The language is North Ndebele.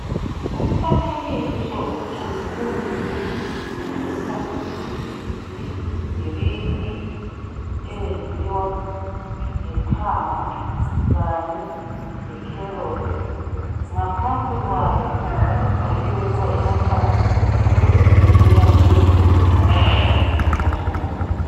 Umfanekiso ogconiweyo otshengisa idirinki eyenziwa ngethanga kanye lekherothi. Ngaphansi kwayo kubhaliwe ukuze inathwa ukuze iyelapheni lokuthi inathwa kangaki ngosuku.